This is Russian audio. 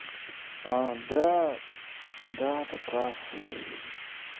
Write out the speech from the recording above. а да да ты прав